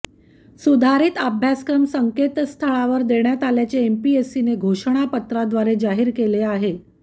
सुधारित अभ्यासक्रम संकेतस्थळावर देण्यात आल्याचे एमपीएससीने घोषणापत्राद्वारे जाहीर केले आहे